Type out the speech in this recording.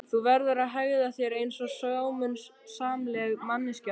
Þú verður að hegða þér einsog sómasamleg manneskja stelpa.